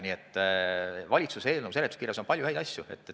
Nii et valitsuse eelnõu seletuskirjas on palju häid asju.